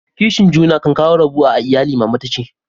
Kishin juna kan kawo rabuwa a lyalli, mama ta ce.